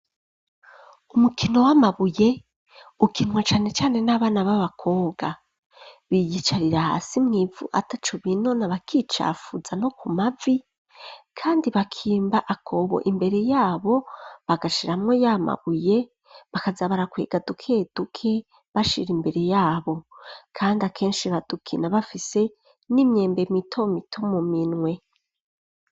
Umukino w'amabuye, ukinwa cane cane n'abana b'abakobwa, biyicarira hasi mwivu atacubinona, bakicafuza no ku mavi ,kandi bakimba akobo imbere yabo, bagashiramwo y'amabuye bakaza barakwega duke duke, bashira imbere yabo ,kandi akenshi badukina bafise n'imyembe mito mito, mu minwe.